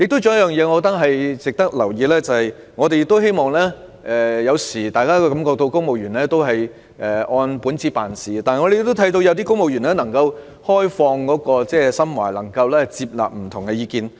還有一點亦值得留意，便是雖然大家有時候會感到公務員只是按本子辦事，但據我們所見，有部分公務員能夠打開心扉，接納不同意見。